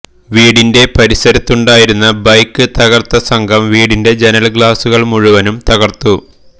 വീടിന്റെ പരിസരത്തുണ്ടായിരുന്ന ബൈക്ക് തകര്ത്ത സംഘം വീടിന്റെ ജനല് ഗ്ളാസുകള് മുഴുവന് തകര്ത്തു